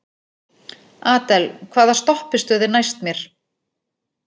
Adel, hvaða stoppistöð er næst mér?